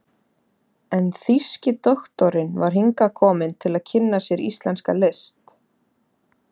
en þýski doktorinn var hingað kominn til að kynna sér íslenska list.